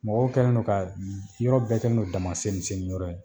Mɔgɔw kɛlen don ka yɔrɔ bɛɛ kɛlen don damaseniseniyɔrɔ ye.